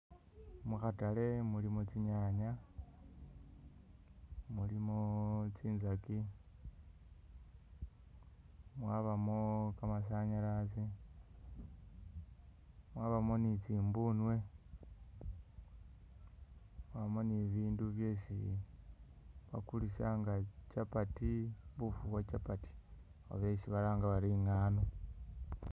Mukhatale mulimo tsinyanya, mulimo tsinzaki mwabamo kamasanyalazi, mwabamo ni tsimbunwe, mwabamo ni bibindu byesi bakulisa nga chapati buffu bwa chapati oba esi balanga bari ingaano